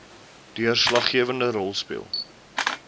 deurslaggewende rol speel